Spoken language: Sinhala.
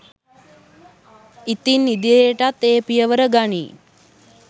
ඉතින් ඉදිරියටත් ඒ පියවර ගනියි